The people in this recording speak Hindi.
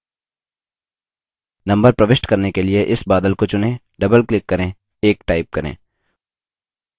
नम्बर प्रविष्ट करने के लिए इस बादल को चुनें double click करें 1 type करें